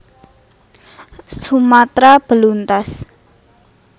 Sumatra beluntas